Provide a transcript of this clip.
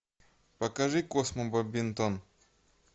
покажи космо бадминтон